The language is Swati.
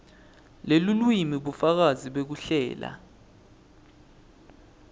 lelulwimi bufakazi bekuhlela